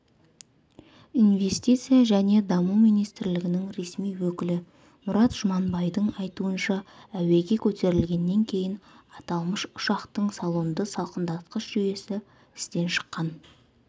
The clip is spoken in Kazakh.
инвестиция және даму министрлігінің ресми өкілі мұрат жұманбайдың айтуынша әуеге көтерілгеннен кейін аталмыш ұшақтың салонды салқындатқыш жүйесі істен шыққан